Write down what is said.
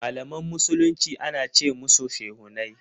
Malaman musulmi ana ce musushehunai.